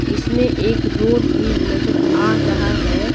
इसमें एक रोड भी नजर आ रहा है।